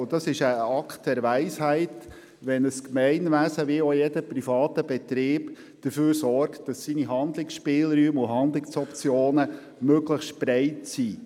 Es handelt sich um einen Akt der Weisheit, wenn ein Gemeinwesen oder auch jeder private Betrieb dafür sorgt, dass die eigenen Handlungsspielräume möglichst breit ausgestaltet sind.